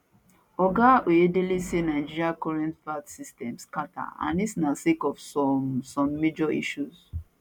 oga oyedele say nigeria current vat system scata and dis na sake of some some major issues